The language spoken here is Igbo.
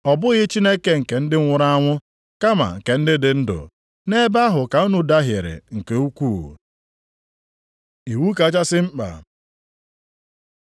Ọ bụghị Chineke nke ndị nwụrụ anwụ kama nke ndị dị ndụ. Nʼebe ahụ ka unu dahiere nke ukwuu.” Iwu kachasị mkpa